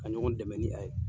Ka ɲɔgɔn dɛmɛ ni a ye.